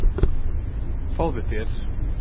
Fáðu þér.